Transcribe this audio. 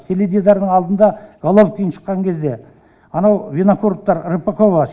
теледидардың алдында головкин шыққан кезде анау винокуровтар рыпакова